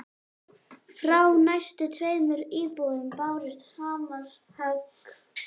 Frá næstu tveimur íbúðum bárust hamarshögg.